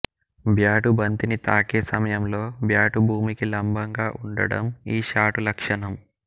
bat బంతిని తాకే సమయంలో బ్యాటు భూమికి లంబంగా ఉండటం ఈ షాటు లక్షణం